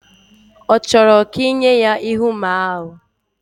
Ochoro ka inye ya Íhúamá ahu?